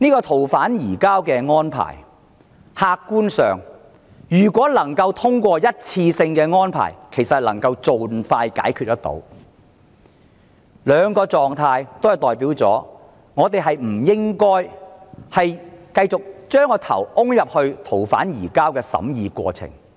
此外，客觀上，如能通過一次性的逃犯移交安排，其實便可盡快解決問題，而以上兩種情況均意味着我們不應再埋首於逃犯移交安排的審議過程。